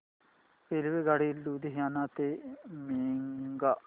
रेल्वेगाडी लुधियाना ते मोगा